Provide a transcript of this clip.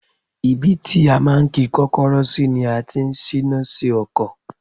Ibi tí a máa ń ki Kọ́kọ́rọ́ sí ni a ti ń síná sí ọkọ̀.